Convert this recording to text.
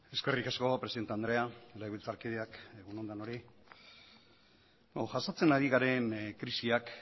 eskerrik asko presidente andrea legebiltzarkideak egun on denoi jasotzen ari garen krisiak